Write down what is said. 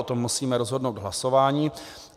O tom musíme rozhodnout v hlasování.